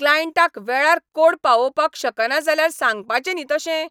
क्लायंटाक वेळार कोड पावोवपाक शकना जाल्यार सांगपाचें न्ही तशें?